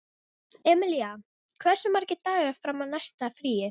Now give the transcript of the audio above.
Emilía, hversu margir dagar fram að næsta fríi?